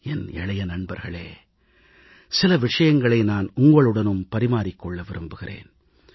என் இளைய நண்பர்களே சில விஷயங்களை நான் உங்களுடனும் பரிமாறிக் கொள்ள விரும்புகிறேன்